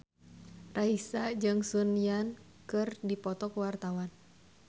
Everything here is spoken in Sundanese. Raisa jeung Sun Yang keur dipoto ku wartawan